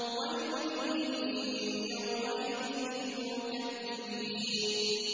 وَيْلٌ يَوْمَئِذٍ لِّلْمُكَذِّبِينَ